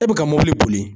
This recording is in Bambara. E bɛ ka mobili boli